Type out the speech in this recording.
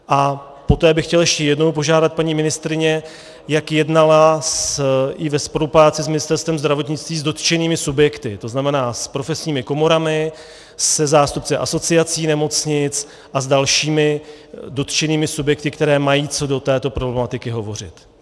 A poté bych chtěl ještě jednou požádat paní ministryni, jak jednala i ve spolupráci s Ministerstvem zdravotnictví s dotčenými subjekty, to znamená s profesními komorami, se zástupci asociací nemocnic a s dalšími dotčenými subjekty, které mají co do této problematiky hovořit.